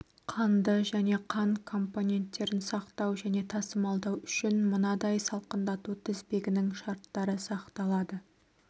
қанды және қан компоненттерін сақтау және тасымалдау үшін мынадай салқындату тізбегінің шарттары сақталады